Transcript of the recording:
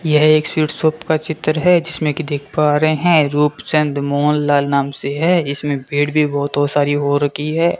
यह एक sweet shop का चित्र है जिसमें कि देख पा रहे हैं रूप चंद मोहन लाल नाम से है इसमें पेड़ भी बहुत हो सारी हो रखी है।